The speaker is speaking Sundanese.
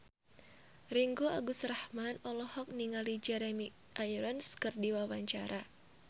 Ringgo Agus Rahman olohok ningali Jeremy Irons keur diwawancara